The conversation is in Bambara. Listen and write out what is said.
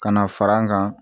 Ka na fara an kan